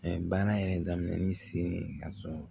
baara yɛrɛ daminɛnin sen ka sɔn